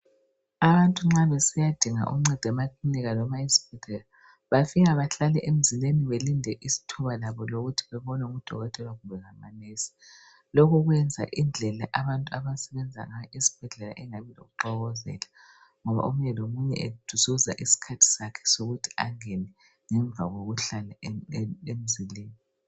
Abantu nxa besiya dinga uncedo emakilinika loba esibhedlela bafika bahlale emzileni belinde ithuba labo lokuthi bebone udokotela kumbe lamanesi lokhu kuyenza indlela abantu abasebenza ngayo esibhedlela ingabi lokuxokozela ngoba omunye lomunye ezuza iskhathi sakhe sokuthi angene ngemva kokuhlala emzileni